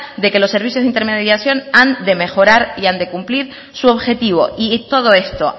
de que los servicios de intermediación han de mejorar y han de cumplir su objetivo y todo esto